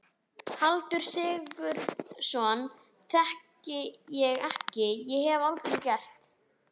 Halldór Sigurðsson þekki ég ekki- og hef aldrei gert.